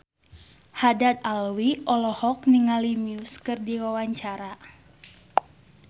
Haddad Alwi olohok ningali Muse keur diwawancara